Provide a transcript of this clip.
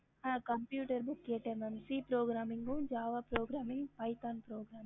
ஹம்